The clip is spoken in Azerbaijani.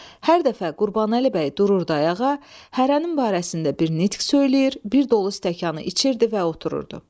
Hər dəfə Qurbanəli bəy dururdu ayağa, hərənin barəsində bir nitq söyləyir, bir dolu stəkanı içirdi və otururdu.